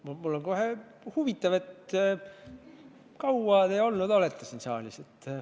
Mulle pakub kohe huvi, kui kaua te olete siin saalis olnud.